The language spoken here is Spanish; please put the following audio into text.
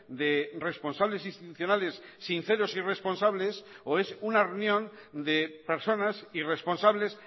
de responsables institucionales sinceros y responsables o es una reunión de personas irresponsables